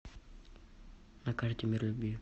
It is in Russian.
на карте мир любви